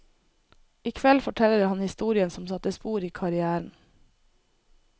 I kveld forteller han historien som satte spor i karrièren.